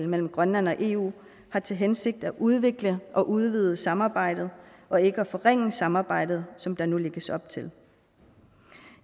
mellem grønland og eu har til hensigt at udvikle og udvide samarbejdet og ikke at forringe samarbejdet som der nu lægges op til